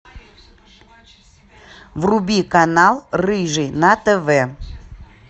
вруби канал рыжий на тв